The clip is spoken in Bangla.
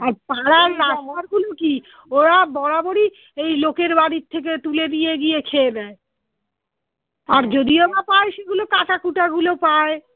আর পাড়ার গুলো কি ওরা বরাবরই এই লোকের বাড়ির থেকে তুলে নিয়ে গিয়ে খেয়ে নেয় আর পায় সেগুলো কাঁটাকুটা গুলো পায়